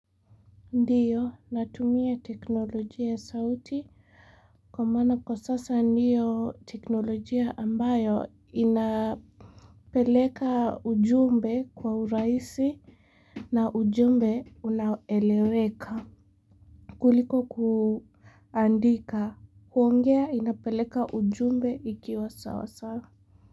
Ndio natumia teknolojia ya sauti kwa maana kwa sasa ndio teknolojia ambayo inapeleka ujumbe kwa uraisi na ujumbe unaeleweka kuliko kuandika huongea inapeleka ujumbe ikiwa sawa sawa.